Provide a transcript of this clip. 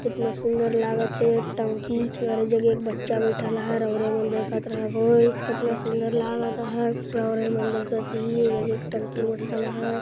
इतना सुंदर लागत हे टंकी और ई जग एक बच्चा बैठल है रो-रो देखत रहबो कितना सुंदर लागत हैं देखत ती टंकी --]